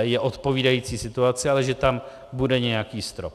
je odpovídající situaci, ale že tam bude nějaký strop.